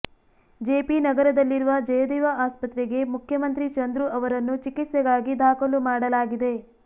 JP ನಗರದಲ್ಲಿರುವ ಜಯದೇವ ಆಸ್ಪತ್ರೆಗೆ ಮುಖ್ಯಮಂತ್ರಿ ಚಂದ್ರು ಅವರನ್ನು ಚಿಕಿತ್ಸೆಗಾಗಿ ದಾಖಲು ಮಾಡಲಾಗಿದೆ